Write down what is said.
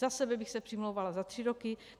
Za sebe bych se přimlouvala za tři roky.